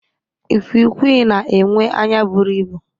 Ikwiikwii na-enwe anya bụrụ ịbụ.